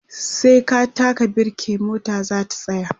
sai ka taka birke mota zata tsaya